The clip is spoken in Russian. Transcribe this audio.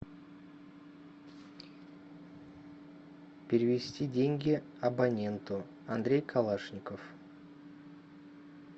перевести деньги абоненту андрей калашников